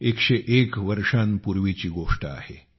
101 वर्षांपूर्वीची गोष्ट आहे